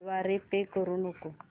द्वारे पे करू नको